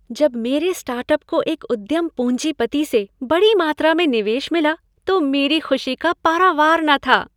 जब मेरे स्टार्टअप को एक उद्यम पूंजीपति से बड़ी मात्रा में निवेश मिला तो मेरी खुशी का पारावार न था।